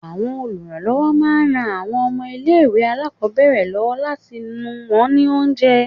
Àwọn olùrànlọ́wọ́ máa ń ran àwọn ọmọ ilé ìwé alákòbẹ̀rẹ̀ lọ́wọ́ láti nù wón ní oúnjẹ.